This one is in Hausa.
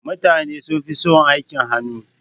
Mutane sunfi son aikin hannu.